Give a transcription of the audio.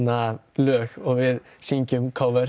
lög og syngjum